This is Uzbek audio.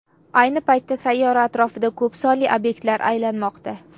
Ayni paytda sayyora atrofida ko‘p sonli obyektlar aylanmoqda.